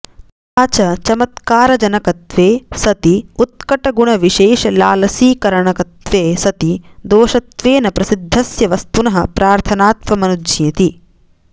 तथा च चमत्कारजनकत्वे सति उत्कटगुणविशेषलालसीकरणकत्वे सति दोषत्वेन प्रसिद्धस्य वस्तुनः प्रार्थनात्वमनुज्ञेति